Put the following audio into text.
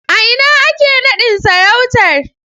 A ina ake nadin sarautar?